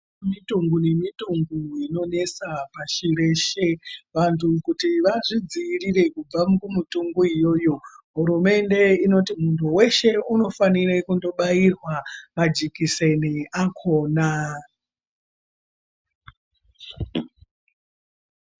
Kune mitombo ngemitombo inonetsa pashi reshe vantu kuti vazvidzivirire kubva kumitombo iyoyo hurumende inoti munhu weshe unofanire kunobairwa majekiseni akona